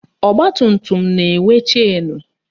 Ọgbatumtum na-enwe chenu